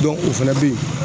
o fɛnɛ be yen.